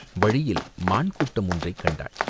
வழியில் மான் கூட்டம் ஒன்றைக் கண்டாள்.